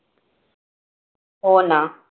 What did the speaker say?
हो ना.